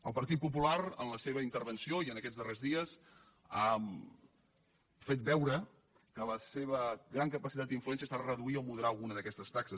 el partit popular en la seva intervenció i en aquests darrers dies ha fet veure que la seva gran capacitat d’influència ha estat reduir o moderar alguna d’aquestes taxes